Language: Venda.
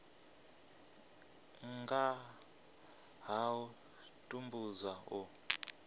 nga ha u tambudzwa u